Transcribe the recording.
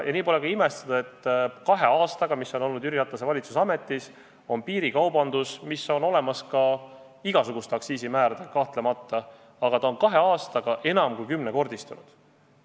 Nii pole ka imestada, et kahe aastaga, mis Jüri Ratase valitsus on ametis olnud, on piirikaubandus – mis on kahtlemata olemas igasuguste aktsiisimääradega –kahe aastaga enam kui kümnekordistunud.